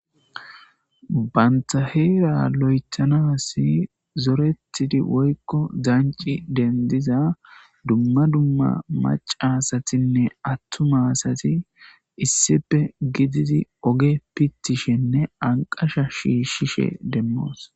Banta heera lo7ethanassi zorettidi woykko danci dendiza dumma dumma macca asatinne attuma asati issippe gididi ogge pittishenne anqasha shiishshishe demmoos.